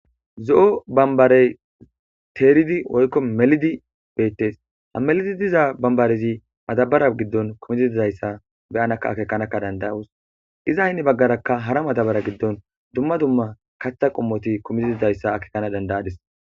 Zo'o bambare teridi woykko melidi beettes.ha melidi diza baminare madabara giddon diz aiza gankka danidayos.iza hinni baggaraka hara madabariyan diza kaththa qommoti kumidi diza issa be'ana danidaysi